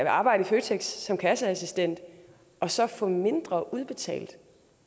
arbejde i føtex som kasseassistent og så få mindre udbetalt